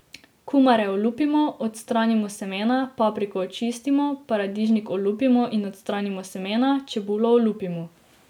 Kumare olupimo, odstranimo semena, papriko očistimo, paradižnik olupimo in odstranimo semena, čebulo olupimo.